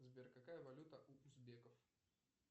сбер какая валюта у узбеков